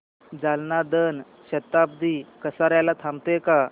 जालना जन शताब्दी कसार्याला थांबते का